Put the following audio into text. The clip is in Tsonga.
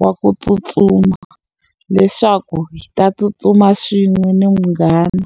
wa ku tsutsuma leswaku hi ta tsutsuma swin'we ni munghana.